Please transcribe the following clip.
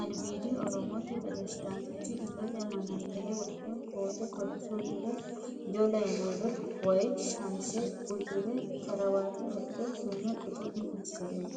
albiidi Oromote presidaantichi illete manaxxire wodhe koote kolishsho uddire waajjo layinoole woyi shamise uddire karawata wodhe suume qucu'mi assure no.